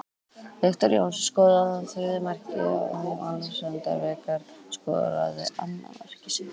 Viktor Jónsson skoraði þriðja markið úr víti áður en Alexander Veigar skoraði annað mark sitt.